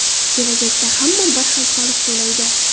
Kelajakda hamma bir xil soliq to‘laydi.